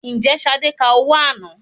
Ǹjẹ́ Ṣadé ka owó àná?